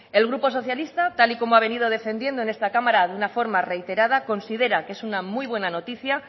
el grupo socialista tal y como ha venido defendiendo en esta cámara de una forma reiterada considera que es una muy buena noticia